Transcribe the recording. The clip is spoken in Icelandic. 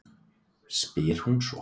spyr hún svo.